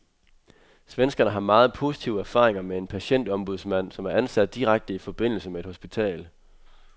Svenskerne har meget positive erfaringer med en patientombudsmand, som er ansat direkte i forbindelse med et hospital.